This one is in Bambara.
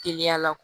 Teliya la